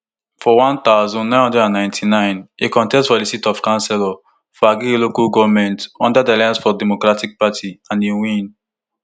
for one thousand, nine hundred and ninety-nine e contest for di seat of councillor for agege local goment under di alliance for democracy party and e win